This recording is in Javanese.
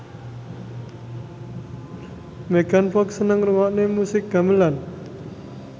Megan Fox seneng ngrungokne musik gamelan